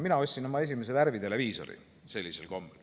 Mina ostsin sellisel kombel oma esimese värviteleviisori.